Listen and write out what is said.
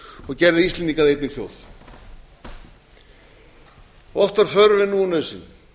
og gerðu íslendinga að einni þjóð oft var þörf en nú er nauðsyn